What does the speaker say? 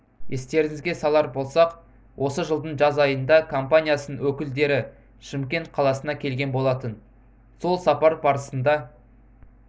естеріңізге салар болсақ осы жылдың жаз айында компаниясының өкілдері шымкент қаласына келген болатын сол сапар барысында